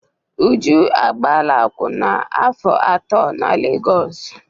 Uju agbaala akwụna afọ atọ na Legọsụ.